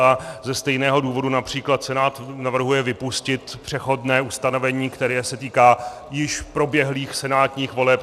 A ze stejného důvodu například Senát navrhuje vypustit přechodné ustanovení, které se týká již proběhlých senátních voleb.